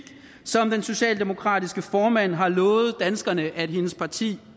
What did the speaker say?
som den socialdemokratiske formand har lovet danskerne hendes parti